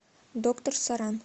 доктор соран